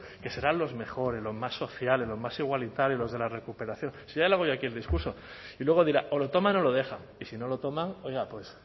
que serán los mejores los más sociales los más igualitarios los de la recuperación si ya le hago yo aquí el discurso y luego dirán o lo toman o lo dejan y si no lo toman oiga pues